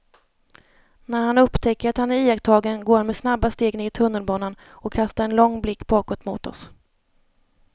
När han upptäcker att han är iakttagen går han med snabba steg ner i tunnelbanan och kastar en lång blick bakåt mot oss.